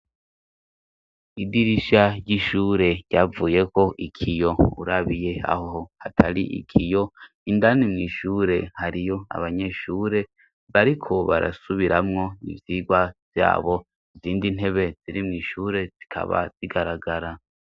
Idirisha ry'ishure ryavuyeko ikiyo, urabiye aho hatari ikiyo, indani mw' ishure hariyo abanyeshure bariko barasubiramwo ivyirwa vyabo, izindi ntebe ziri mw' ishure zikaba zigaragara.